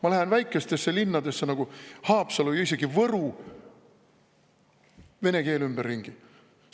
Ma lähen väikestesse linnadesse, nagu Haapsalu ja isegi Võru – vene keel ümberringi!